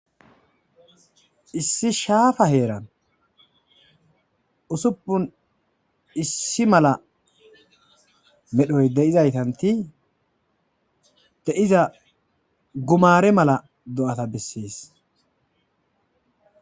Issi shafa heran usupunu issi mala medhoyi deizaystati deiza gumare mala do'ata beses